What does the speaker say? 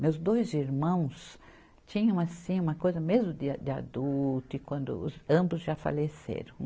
Meus dois irmãos tinham, assim, uma coisa mesmo de de adulto, e quando ambos já faleceram.